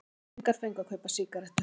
Unglingar fengu að kaupa sígarettur